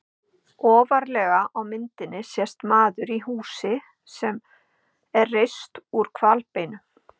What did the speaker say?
Ofarlega á myndinni sést maður í húsi sem er reist úr hvalbeinum.